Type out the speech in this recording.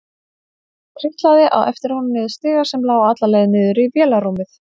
Hún trítlaði á eftir honum niður stiga sem lá alla leið niður í vélarrúmið.